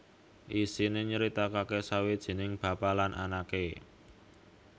Isiné nyritakaké sawijining bapa lan anaké